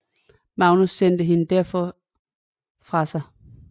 Magnus sendte hende derfor fra sig